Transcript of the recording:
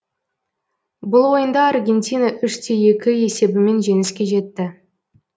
бұл ойында аргентина үш те екі есебімен жеңіске жетті